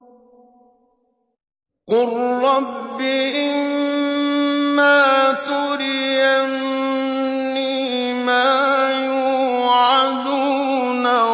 قُل رَّبِّ إِمَّا تُرِيَنِّي مَا يُوعَدُونَ